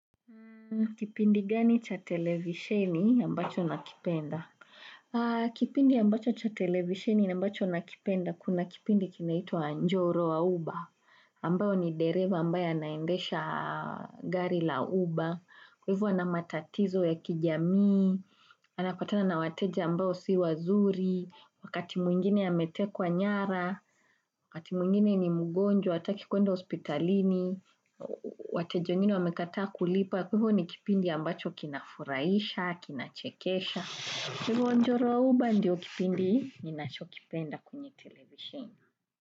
Kipindi gani cha televisheni ambacho nakipenda? Kipindi ambacho cha televisheni ambacho nakipenda kuna kipindi kinaitwa njoro wa Uber. Ambao ni dereva ambayo anaendesha gari la Uber. Kwa hivyo anamatatizo ya kijamii. Anapatana na wateja ambao si wazuri. Wakati mwingine ametekwa nyara. Wakati mwingine ni mugonjwa hataki kuenda hospitalini. Wateja wengine wamekataa kulipa. Kwahivyo ni kipindi ambacho kina furahisha, kina chekesha. Kwa hivyo njoro wa uba ndiyo kipindi ni nacho kipenda kwenye television.